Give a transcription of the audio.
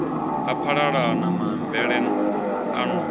a phalalana maambele a no